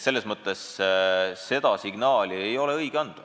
Aga seda signaali ei ole õige anda.